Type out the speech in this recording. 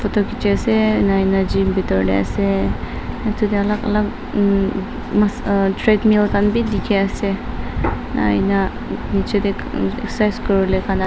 photo khichiase ena ena gym bitor tae ase edu tae alak alak emm mas ah treadmill khan bi dikhiase ena ena nichae tae excercise kuriwolae kan --